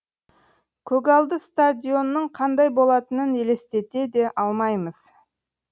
көгалды стадионның қандай болатынын елестете де алмаймыз